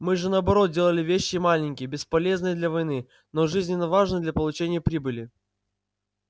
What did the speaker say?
мы же наоборот делали вещи маленькие бесполезные для войны но жизненно важные для получения прибыли